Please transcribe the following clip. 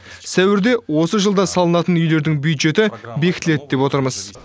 сәуірде осы жылда салынатын үйлерідің бюджеті бекітіледі деп отырмыз